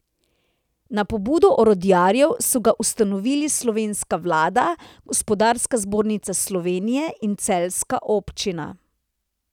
Na pobudo orodjarjev so ga ustanovili slovenska vlada, Gospodarska zbornica Slovenije in celjska občina.